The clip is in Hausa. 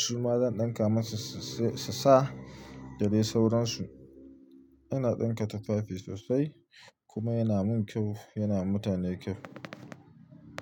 Su ma zan dinka masu su sa, da dai sauransu. Ina dinka tufafi sosai kuma yana mun kyau, yana mutane kyau.